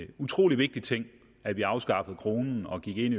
en utrolig vigtig ting at vi afskaffede kronen og gik ind